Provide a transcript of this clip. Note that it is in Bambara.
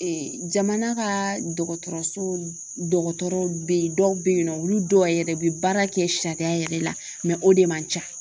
jamana ka dɔgɔtɔrɔso dɔgɔtɔrɔw bɛ yen dɔw bɛ yen nɔ olu dɔw yɛrɛ bɛ baara kɛ sariya yɛrɛ la o de man ca